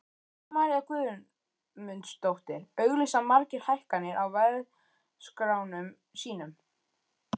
Guðrún María Guðmundsdóttir: Auglýsa margir hækkanir á verðskránum sínum?